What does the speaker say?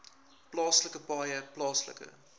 plaaslike paaie plaaslike